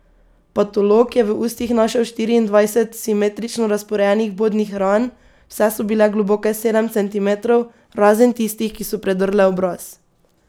Patolog je v ustih naštel štiriindvajset simetrično razporejenih vbodnih ran, vse so bile globoke sedem centimetrov, razen tistih, ki so predrle obraz.